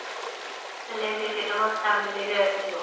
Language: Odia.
ହେଲେ ଯେ ତ ମୋ family ବି ଆସିବ